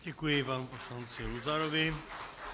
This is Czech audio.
Děkuji panu poslanci Luzarovi.